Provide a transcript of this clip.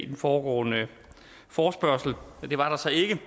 den foregående forespørgsel det var der så ikke